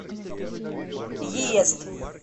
йезд